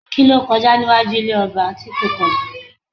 Kí ló kọjá níwájú ilé ọba tí kò kọ́ba?